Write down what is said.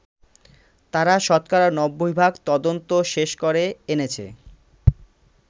তারা শতকরা নব্বই ভাগ তদন্ত শেষ করে এনেছে।